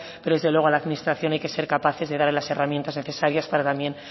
pero desde luego a la administración hay que ser capaces de darle las herramientas necesarias para también